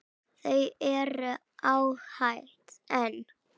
Þau eru ágæt en.